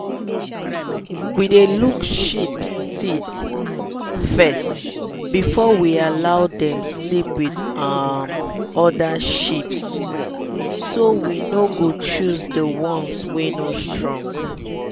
we dey look sheep teeth first before we allow dem sleep with um other sheeps so we no go choose the ones wey no strong.